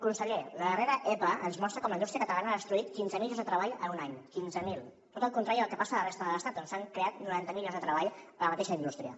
conseller la darrera epa ens mostra com la indústria catalana ha destruït quinze mil llocs de treball en un any quinze mil tot el contrari del que passa a la resta de l’estat on s’han creat noranta mil llocs de treball a la mateixa indústria